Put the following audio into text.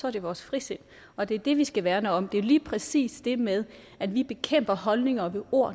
er det vores frisind og det er det vi skal værne om det er lige præcis det med at vi bekæmper holdninger ved ord